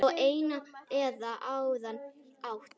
Á einn eða annan hátt.